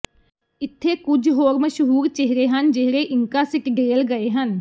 ਇੱਥੇ ਕੁਝ ਮਸ਼ਹੂਰ ਚਿਹਰੇ ਹਨ ਜਿਹੜੇ ਇੰਕਾ ਸਿਟਡੇਲ ਗਏ ਹਨ